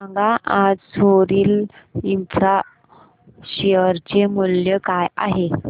सांगा आज सोरिल इंफ्रा शेअर चे मूल्य काय आहे